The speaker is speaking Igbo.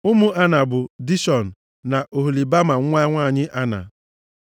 Ụmụ Ana bụ, Dishọn na Oholibama nwa nwanyị Ana.